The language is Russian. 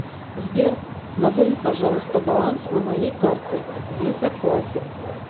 сбер назови пожалуйста баланс на моей карте виза классик